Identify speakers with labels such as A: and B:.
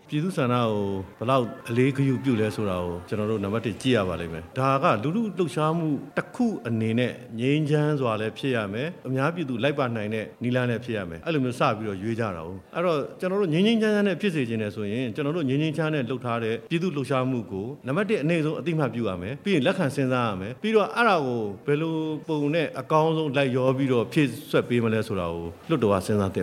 A: ပြည့်သူ့ဆန္ဒကို ဘယ်လောက်အလေးအနက်ပြု တယ် ဆိုတာကို ကျနော်တို့ နံပါတ်တစ် ကြည့်ရ ပါလိမ့်မယ်၊ ဒါက လူထုလှှုပ်ရှားမှှု တစ်ခုအနေနဲ့ ငြိမ်းချမ်းစွာလည်းဖြစ်ရမယ်၊ အများပြည်သူ လက်ခံနိုင်မယ့် နည်းလမ်းလည်း ဖြစ်ရမယ် အဲ့လိုမျိုး စပြီးတော့ရွေးကြတာပေါ့ အဲ့ဒီတော့ ကျနော်တို့ ငြိမ်းငြိမ်းချမ်းချမ်းနဲ့ ဖြစ်စေချင်တယ်ဆိုရင် ကျနော်တို့ ငြိမ်းငြိမ်းချမ်းချမ်းနဲ့ လုပ်ထားတဲ့ ပြည်သူ့လှှုပ်ရှားမှှုကို နံပါတ်တစ် အနိမ့်ဆုံး အသိအမှတ်ပြုရမယ် ပြီးရင်လက်ခံစဉ်းစားရမယ် ပြီးတော့ အဲ့ဒါကို ဘယ်လိုပုံနဲ့ အကောင်ဆုံး လိုက်လျောပြီးတော့ ဖြည့်ဆည်းပေးမလ
B: ဲဆိုတာ လွှတ်တော်က စဉ်းစားသင့